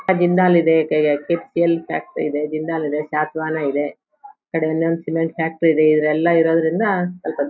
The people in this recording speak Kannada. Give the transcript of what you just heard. ಆ ಜಿಂದಾಲ್ ಇದೆ ಕೆ .ಕೆ.ಸಿ.ಎಲ್ ಫ್ಯಾಕ್ಟರಿ ಇದೆ ಜಿಂದಾಲ್ ಇದೆ ಇದೆ ಕಡೆಯಲ್ಲಿ ಒಂದು ಫಿಲಂ ಫ್ಯಾಕ್ಟರಿ ಇದೆ ಇದೆಲ್ಲ ಇರೋದ್ರಿಂದ --